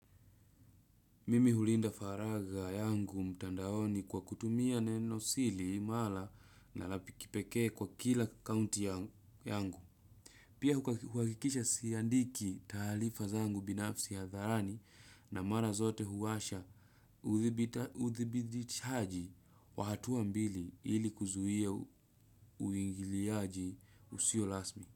Mimi hulinda faragha yangu mtandaoni kwa kutumia neno siri imara na la kipekee kwa kila akaunti yangu. Pia huhakikisha siandiki taarifa zangu binafsi hadharani na mara zote huwasha uthibidishaji wa hatua mbili ili kuzuia uingiliaji usio rasmi.